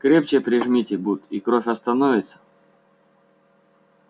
крепче прижмите бут и кровь остановится